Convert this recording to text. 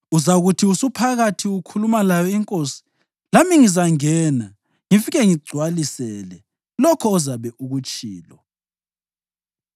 Uzakuthi usuphakathi ukhuluma layo inkosi, lami ngizangena ngifike ngigcwalisele lokho ozabe ukutshilo.”